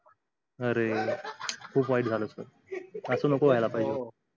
अरे खूप वाईट झाल अस नको व्हायला पाहिजे